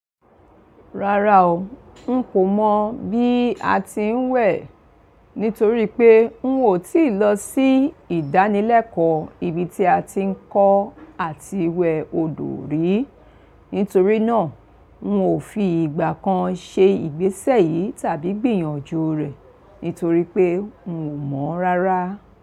Rárá o, un kò mọ̀ bí a ti ń wẹ̀ nítorí pé un ò tíì lọ sí ìdánilẹ́kọ̀ọ́ ibi tí a ti ń kọ́ àti wẹ̀ odò rí. Nítorí náà, un ò fi ìgbà kan ṣe ìgbésẹ̀ yìí tàbí gbìyànjú rẹ̀ nítorí pé n ò mọ̀ rárá.